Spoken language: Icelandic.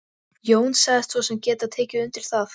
Jón sagðist svo sem geta tekið undir það.